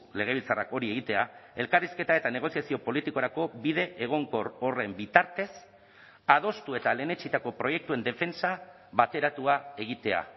legebiltzarrak hori egitea elkarrizketa eta negoziazio politikorako bide egonkor horren bitartez adostu eta lehenetsitako proiektuen defentsa bateratua egitea